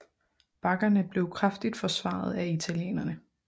Bakkerne blev kraftigt forsvaret af italienerne